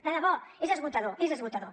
de debò és esgotador és esgotador